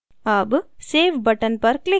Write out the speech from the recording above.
अब save button पर click करें